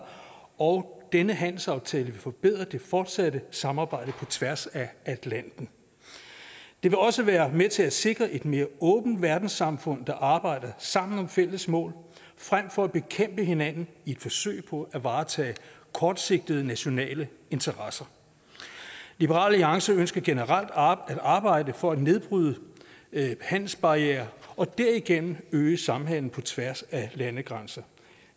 og denne handelsaftale vil forbedre det fortsatte samarbejde på tværs af atlanten det vil også være med til at sikre et mere åbent verdenssamfund der arbejder sammen om fælles mål frem for at bekæmpe hinanden i et forsøg på at varetage kortsigtede nationale interesser liberal alliance ønsker generelt at arbejde for at nedbryde handelsbarrierer og derigennem øge samhandel på tværs af landegrænser